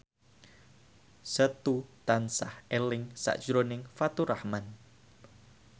Setu tansah eling sakjroning Faturrahman